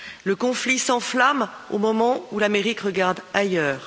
Le conflit s'enflamme au moment où l'Amérique regarde ailleurs.